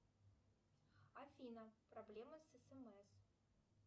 афина проблема с смс